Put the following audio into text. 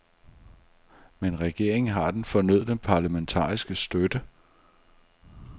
Men regeringen har den fornødne parlamentariske støtte.